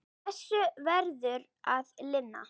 Þessu verður að linna.